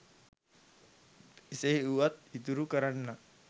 එසේ වුවත් ඉතුරු කරන්නන්